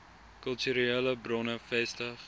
kulturele bronne vestig